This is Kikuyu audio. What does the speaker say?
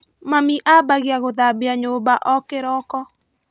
Mami ambagia gũthambua nyũmba o kĩroko.